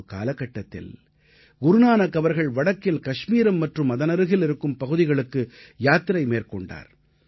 ஒரு காலகட்டத்தில் குருநானக் அவர்கள் வடக்கில் கஷ்மீரம் மற்றும் அதனருகில் இருக்கும் பகுதிகளுக்கு யாத்திரை மேற்கொண்டார்